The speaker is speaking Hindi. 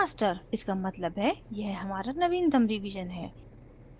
इसका मतलब है यह हमारा नवीनतम रिवीजन है